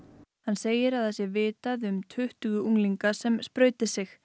hann segir að það sé vitað um tuttugu unglinga sem sprauti sig